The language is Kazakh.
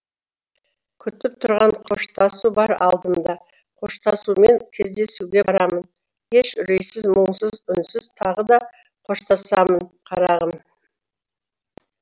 күтіп тұрған қоштасу бар алдымда қоштасумен кездесуге барамын еш үрейсіз мұңсыз үнсіз тағы да қоштасамын қарағым